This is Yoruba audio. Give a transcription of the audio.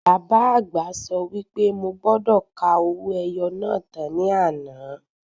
Bàbá àgbà sọ wí pé mo gbọ́dọ̀ ka owó ẹyọ náà tán ní àná.